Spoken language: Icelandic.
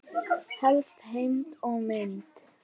Helsta heimild og mynd